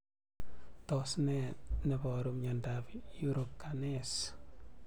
Tos ne neparu miondop Urocanase